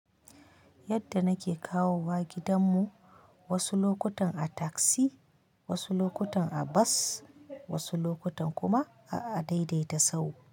Yadda nake kawowa gidan mu, wasu lokutan a taksi, wasu lokutan a bas, wasu lokutan kuma a adaidaita sahu.